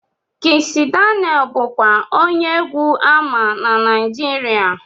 Kizz Daniel bụkwa onye egwu ama na Naijiria